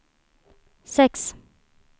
sex